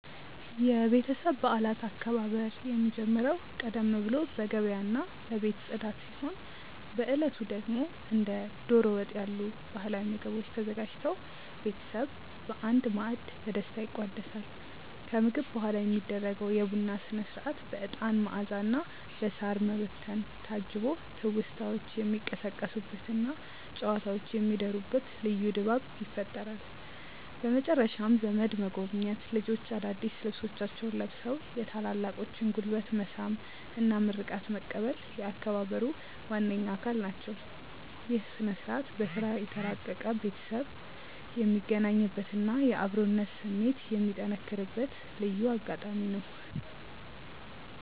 የቤተሰብ በዓላት አከባበር የሚጀምረው ቀደም ብሎ በገበያና በቤት ጽዳት ሲሆን፣ በዕለቱ ደግሞ እንደ ደሮ ወጥ ያሉ ባህላዊ ምግቦች ተዘጋጅተው ቤተሰብ በአንድ ማዕድ በደስታ ይቋደሳል። ከምግብ በኋላ የሚደረገው የቡና ሥነ-ሥርዓት በዕጣን መዓዛና በሳር መበተን ታጅቦ ትውስታዎች የሚቀሰቀሱበትና ጨዋታዎች የሚደሩበት ልዩ ድባብ ይፈጥራል። በመጨረሻም ዘመድ መጎብኘት፣ ልጆች አዳዲስ ልብሶቻቸውን ለብሰው የታላላቆችን ጉልበት መሳም እና ምርቃት መቀበል የአከባበሩ ዋነኛ አካል ናቸው። ይህ ሥነ-ሥርዓት በሥራ የተራራቀ ቤተሰብ የሚገናኝበትና የአብሮነት ስሜት የሚጠነክርበት ልዩ አጋጣሚ ነው።